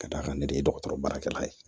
Ka d'a kan ne de ye dɔgɔtɔrɔ baara kɛlan ye